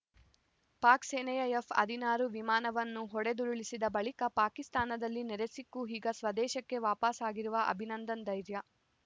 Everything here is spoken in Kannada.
ಪಾಕ್‌ ಸೇನೆಯ ಎಫ್‌ ಹದಿನಾರು ವಿಮಾನವನ್ನು ಹೊಡೆದುರುಳಿಸಿದ ಬಳಿಕ ಪಾಕಿಸ್ತಾನದಲ್ಲಿ ಸೆರೆಸಿಕ್ಕು ಈಗ ಸ್ವದೇಶಕ್ಕೆ ವಾಪಸಾಗಿರುವ ಅಭಿನಂದನ್‌ ಧೈರ್ಯ